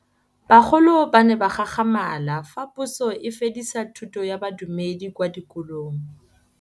Bagolo ba ne ba gakgamala fa Pusô e fedisa thutô ya Bodumedi kwa dikolong.